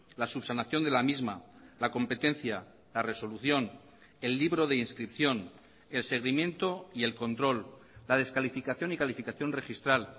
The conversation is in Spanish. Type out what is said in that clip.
la subsanación de la misma la competencia la resolución el libro de inscripción el seguimiento y el control la descalificación y calificación registral